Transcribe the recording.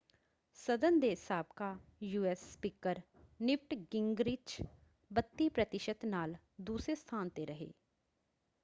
ਸਦਨ ਦੇ ਸਾਬਕਾ ਯੂਐਸ ਸਪੀਕਰ ਨਿਵਟ ਗਿੰਗਰਿਚ 32 ਪ੍ਰਤੀਸ਼ਤ ਨਾਲ ਦੂਸਰੇ ਸਥਾਨ 'ਤੇ ਰਹੇ।